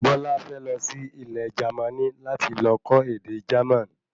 Bola fẹ lọ sí Ilẹ̀ Jermani láti lọ kọ́ ède Jerman